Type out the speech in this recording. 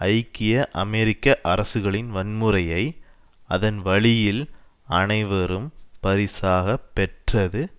ஐக்கிய அமெரிக்க அரசுகளின் வன்முறையை அதன் வழியில் அனைவரும் பரிசாக பெற்றது